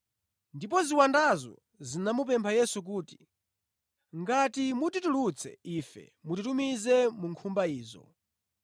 Ndipo ziwandazo zinamupempha Yesu kuti, “Ngati mutitulutsa ife mutitumize mu nkhumba izo.”